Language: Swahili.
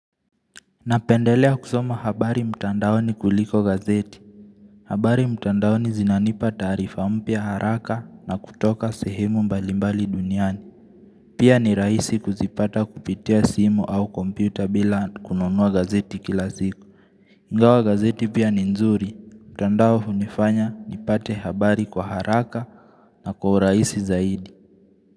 Napendelea kusoma habari mtandao ni kuliko gazeti. Habari mtandao ni zinanipa tarifa mpia haraka na kutoka sehemu mbalimbali duniani. Pia ni raisi kuzipata kupitia simu au kompyuta bila kununua gazeti kilasiku. Ngawa gazeti pia ni nzuri, mtandao hunifanya nipate habari kwa haraka na kwa raisi zaidi.